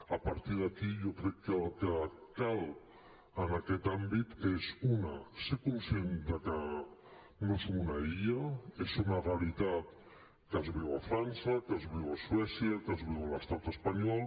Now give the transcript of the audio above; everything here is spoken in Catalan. a partir d’aquí jo crec que el que cal en aquest àmbit és una ser conscients que no som una illa és una realitat que es viu a frança que es viu a suècia que es viu a l’estat espanyol